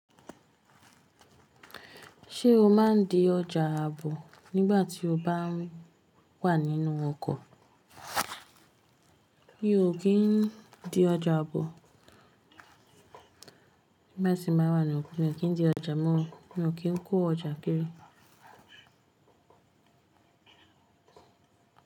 Ṣé o má ń di ọjà àbò nígbà tí o bá wà nínú ọkọ̀? Mi ò kí ń di ọjà àbò nígbà tí mo wà ní ọkọ̀. Èmi ò kí ń dí ọjà, mo ò kí ń kó ọjà kiri.